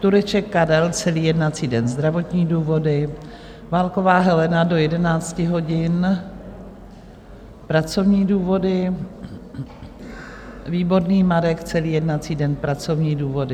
Tureček Karel - celý jednací den, zdravotní důvody, Válková Helena - do 11 hodin, pracovní důvody, Výborný Marek - celý jednací den, pracovní důvody.